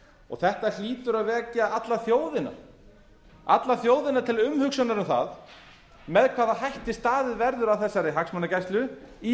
nefndarálitinu þetta hlýtur að vekja alla þjóðina til umhugsunar um það með hvaða hætti staðið verður að þessari hagsmunagæslu í